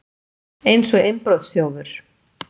Eins og innbrotsþjófur!